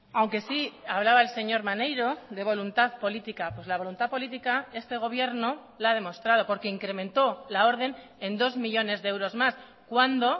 aunque sí hablaba el señor maneiro de voluntad política pues la voluntad política este gobierno la ha demostrado porque incrementó la orden en dos millónes de euros más cuando